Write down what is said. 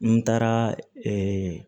N taara ee